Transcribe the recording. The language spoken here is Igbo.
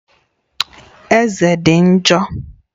Eze dị njọ